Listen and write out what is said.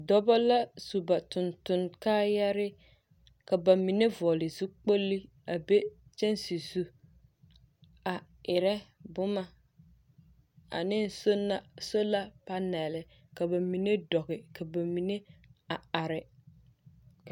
Dɔbɔ la su ba tontoŋ kaayare. Ka ba mine vɔgele zukpolli a be kyɛnse zu a erɛ boma ane sonna sola panɛɛle, ka ba mine dɔge ka ba mine a are.